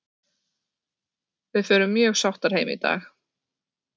Við förum mjög sáttar heim í dag.